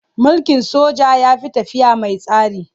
Mulkin soja ya fi tafiya man tsari.